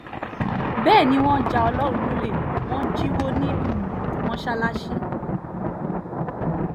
bẹ́ẹ̀ ni wọ́n já ọlọ́run lọ́lẹ̀ wọn jíwọ́ ní um mọ́sálásì